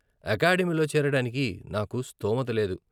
అకాడమీలో చేరడానికి నాకు స్థోమత లేదు.